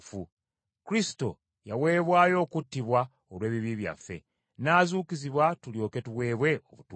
Kristo yaweebwayo okuttibwa olw’ebibi byaffe, n’azuukizibwa tulyoke tuweebwe obutuukirivu.